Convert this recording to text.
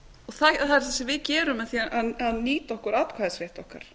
það er það sem við gerum með því að nýta okkur atkvæðisrétt okkar